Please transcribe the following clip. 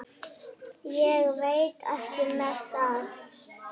Ég veit ekki með það.